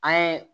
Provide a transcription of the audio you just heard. An ye